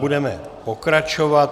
Budeme pokračovat.